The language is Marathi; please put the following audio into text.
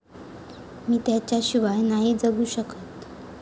मी त्याच्याशिवाय नाही जगू शकत.